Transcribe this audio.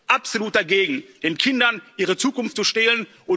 Wir sind absolut dagegen, den Kindern ihre Zukunft zu stehlen.